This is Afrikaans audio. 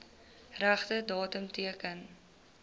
regte datum teken